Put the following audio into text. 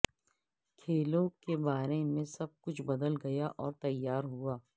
کھیلوں کے بارے میں سب کچھ بدل گیا اور تیار ہوا